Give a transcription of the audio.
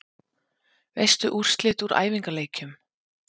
Veistu úrslit úr æfingaleikjum?